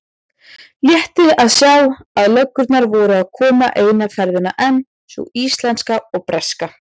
Létti að sjá að löggurnar voru að koma eina ferðina enn, sú íslenska og breska.